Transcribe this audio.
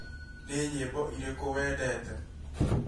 Nĩ nyĩmbo irĩkũ wendete?